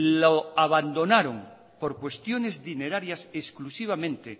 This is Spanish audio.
lo abandonaron por cuestiones dinerarias exclusivamente